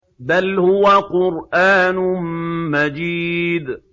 بَلْ هُوَ قُرْآنٌ مَّجِيدٌ